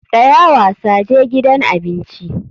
Tsaya wasa, je gidan abinci.